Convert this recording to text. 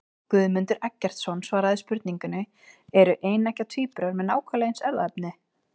Guðmundur Eggertsson svaraði spurningunni Eru eineggja tvíburar með nákvæmlega eins erfðaefni?